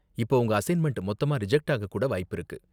இப்ப உங்க அசைன்மெண்ட் மொத்தமா ரிஜக்ட் ஆக கூட வாய்ப்பிருக்கு.